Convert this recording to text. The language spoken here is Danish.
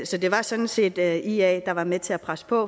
så det var sådan set ia ia der var med til at presse på